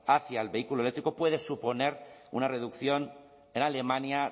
hacia el vehículo eléctrico puede suponer una reducción en alemania